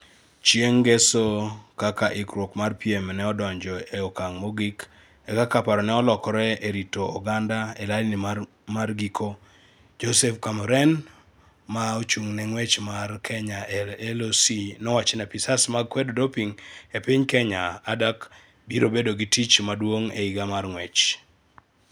Chieng' ngeso, kaka ikruok mar piem ne odonjo ee okang' mogik kaka parone olokore e rito oganda e laini mar giko, Joseph Chemuren, ma ochung' ne ng'wech mar Kenya e LOC nowacho ni apisas mag kwedo doping e piny Kenya (ADAK) biro bedo gi tich maduong' e higa mar ng’wech.